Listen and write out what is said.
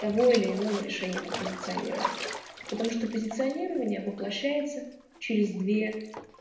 того или иного решения по позиционированию потому что позиционирование воплощается через две